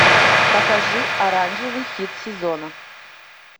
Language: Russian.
покажи оранжевый хит сезона